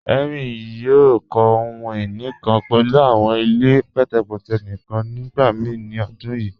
Henry yòò kọ̀ ohun-iní kan pẹ̀lú awọn ilẹ̀ pẹtẹpẹtẹ̀ níkan nígbàmíì ni ọ̀dún yíì.